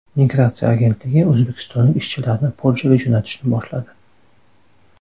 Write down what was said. Migratsiya agentligi o‘zbekistonlik ishchilarni Polshaga jo‘natishni boshladi.